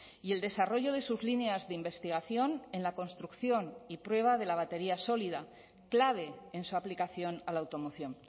y el desarrollo de sus líneas de investigación en la construcción y prueba de la batería sólida clave en su aplicación a la automoción